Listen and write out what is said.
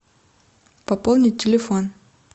пополнить телефон